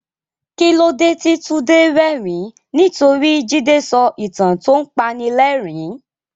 Kí ló dé tí Tunde rẹ́rìn-ín? Nítorí Jide sọ ìtàn tó ń panilẹ́rìn-ín.